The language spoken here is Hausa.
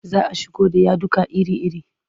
Za a shigo da yaduka iri-iri.